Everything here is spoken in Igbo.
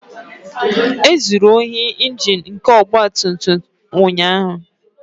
. E zuru ohi Injin nke ọgba tum tum m ụnyaahụ